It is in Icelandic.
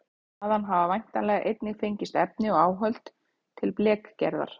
Þaðan hafa væntanlega einnig fengist efni og áhöld til blekgerðar.